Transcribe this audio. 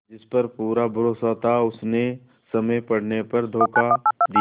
जिस पर पूरा भरोसा था उसने समय पड़ने पर धोखा दिया